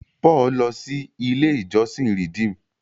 Paul lọ sí ilé ìjósìn Redeem.